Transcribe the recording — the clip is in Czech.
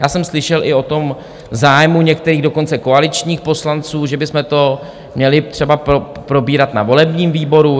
Já jsem slyšel i o tom zájmu některých, dokonce koaličních poslanců, že bychom to měli třeba probírat na volebním výboru.